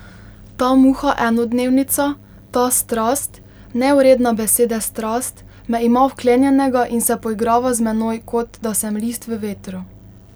Ta muha enodnevnica, ta strast, nevredna besede strast, me ima vklenjenega in se poigrava z menoj, kot da sem list v vetru.